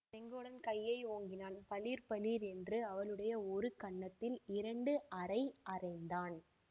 செங்கோடன் கையை ஓங்கினான் பளீர் பளீர் என்று அவளுடைய ஒரு கன்னத்தில் இரண்டு அறை அறைந்தான்